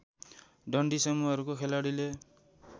डन्डी समूहका खेलाडीहरूले